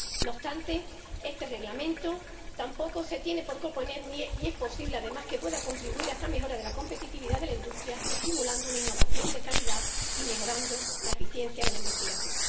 No obstante, este Reglamento tampoco se tiene por qué oponer —y es posible que pueda contribuir— a esa mejora de la competitividad de la industria, estimulando una innovación de calidad y mejorando la eficiencia de la investigación.